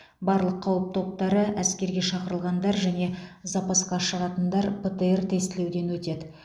барлық қауіп топтары әскерге шақырылғандар және запасқа шығатындар птр тестілеуден өтеді